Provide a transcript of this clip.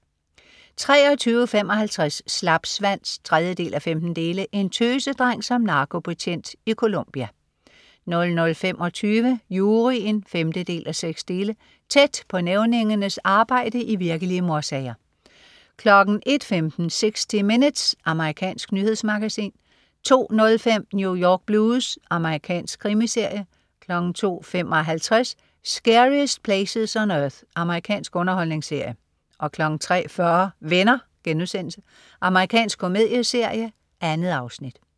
23.55 Slapsvans 3:15. En tøsedreng som narkobetjent i Colombia 00.25 Juryen 5:6. Tæt på nævningernes arbejde i virkelige mordsager 01.15 60 Minutes. Amerikansk nyhedsmagasin 02.05 New York Blues. Amerikansk krimiserie 02.55 Scariest Places on Earth. Amerikansk underholdningsserie 03.40 Venner.* Amerikansk komedieserie. 2 afsnit